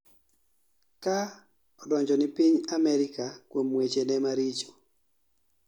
ka odonjo ni piny Anerika kuom weche ne maricho